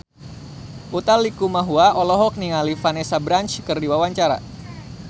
Utha Likumahua olohok ningali Vanessa Branch keur diwawancara